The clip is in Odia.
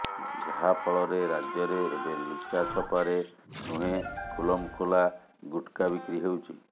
ଯାହାଫଳରେ ରାଜ୍ୟରେ ଏବେ ଲୁଚାଛପାରେ ନୁହେଁ ଖୁଲମଖୁଲା ଗୁଟ୍ଖା ବିକ୍ରି ହେଉଛି